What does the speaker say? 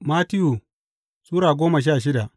Mattiyu Sura goma sha shida